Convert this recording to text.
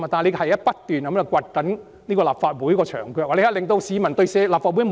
這是不斷掘立法會的"牆腳"，令市民不信任立法會，"老兄"。